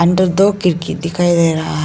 इधर दो खिड़की दिखाई दे रहा है।